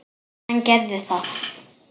Hann gerði það.